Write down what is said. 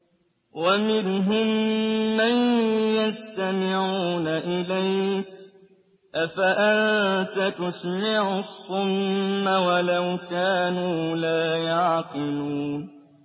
وَمِنْهُم مَّن يَسْتَمِعُونَ إِلَيْكَ ۚ أَفَأَنتَ تُسْمِعُ الصُّمَّ وَلَوْ كَانُوا لَا يَعْقِلُونَ